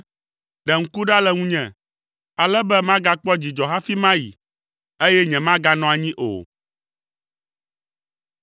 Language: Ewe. Ɖe ŋku ɖa le ŋunye, ale be magakpɔ dzidzɔ hafi mayi, eye nyemaganɔ anyi o.”